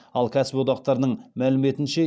ал кәсіподақтардың мәліметінше